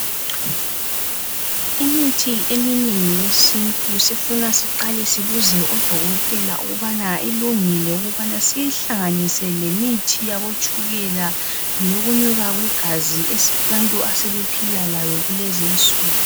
Imithi eminengi eyesintu isifuna siqale sinuses odokotela ukubana ilungile ukubana siyihlanganise lemithi yabotshukela leyokunyuka kwegazi abantu asebephila layo kulezinsuku.